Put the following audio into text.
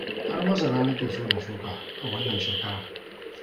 Har masara na ke so na shuka a wannan shekarar